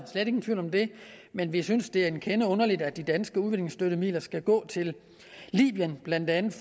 slet ingen tvivl om det men vi synes det er en kende underligt at de danske udviklingsstøttemidler skal gå til blandt andet